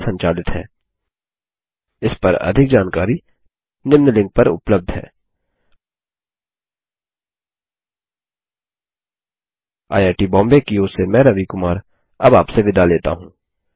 IIT Bombay की ओर से मैं रवि कुमार अब आपसे विदा लेता हूँ